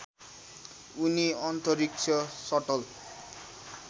उनी अन्तरिक्ष सटल